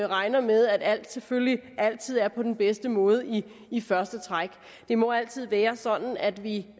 regner med at alt selvfølgelig altid er på den bedste måde i i første træk det må altid være sådan at vi